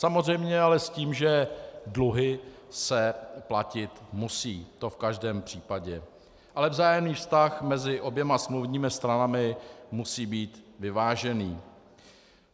Samozřejmě ale s tím, že dluhy se platit musí, to v každém případě, ale vzájemný vztah mezi oběma smluvními stranami musí být vyvážený.